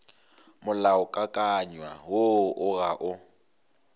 molaokakanywa woo o ga o